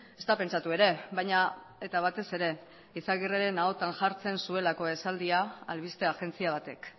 ezta pentsatu ere baina eta batez ere izagirreren ahotan jartzen zuelako esaldia albiste agentzia batek